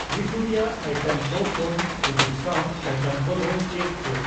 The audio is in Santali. ᱨᱤᱛᱩ ᱨᱮᱭᱟᱜ ᱤᱭᱴᱮᱢ ᱠᱩ ᱠᱷᱚᱱ ᱥᱩᱡᱩᱠ ᱥᱟᱣ ᱟᱭᱴᱮᱢ ᱠᱚ ᱫᱚ ᱪᱮᱫ ᱪᱮᱫ ?